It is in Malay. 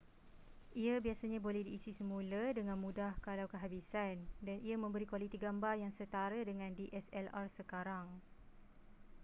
ia biasanya boleh diisi semula dengan mudah kalau kehabisan dan ia memberi kualiti gambar yang setara dengan dslr sekarang